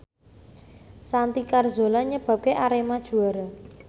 Santi Carzola nyebabke Arema juara